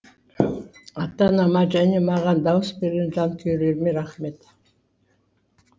ата анама және маған дауыс берген жанкүйерлеріме рахмет